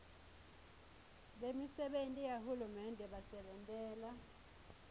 bemisebenti yahulumende basebentela